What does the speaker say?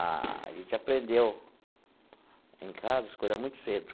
A gente aprendeu em casa as coisas muito cedo.